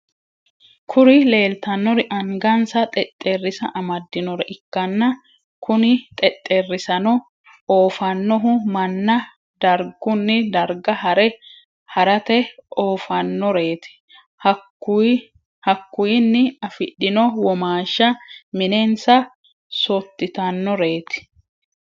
Kuri lelitanori angash xxexerisa amdinore ikana kune xexxerisano offanohuno manna darigunni dariga hare harrate offanoreti. Hakuyinni afidhino womashini minenisa sotitanoreti.